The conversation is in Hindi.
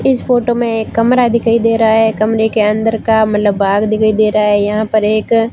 इस फोटो में एक कमरा दिखाई दे रहा है कमरे के अंदर का मतलब भाग दिखाई दे रहा है यहां पर एक--